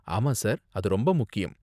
ஆமா, சார். அது ரொம்ப முக்கியம்.